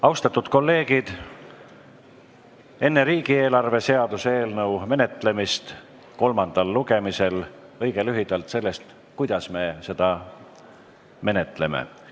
Austatud kolleegid, enne riigieelarve seaduse eelnõu menetlemist kolmandal lugemisel räägin õige lühidalt sellest, kuidas me seda menetleme.